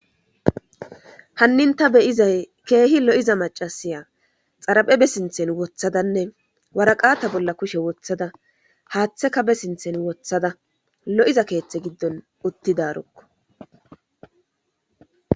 hannin ta beyizay keehi lo7iza macasiya xarape be sinthen wothadanne waraqata bolla kushe woththada haaththeka be sinthen wothada lo7iza keeththe giddon uttidarukko